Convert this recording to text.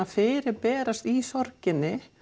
fyrirberast í sorginni